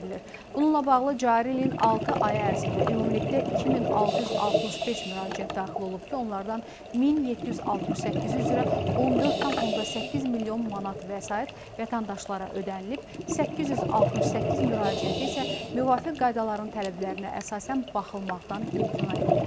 Bununla bağlı cari ilin altı ayı ərzində ümumilikdə 2665 müraciət daxil olub ki, onlardan 1768-i üzrə 14,8 milyon manat vəsait vətəndaşlara ödənilib, 868 müraciəti isə müvafiq qaydaların tələblərinə əsasən baxılmaqdan imtina edilib.